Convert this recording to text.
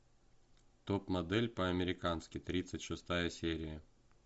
топ модель по американски тридцать шестая серия